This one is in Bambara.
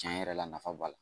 Tiɲɛ yɛrɛ la nafa b'a la